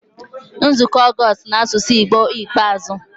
Nzukọ Ọgọst n'asụsụ Igbo ikpeazụ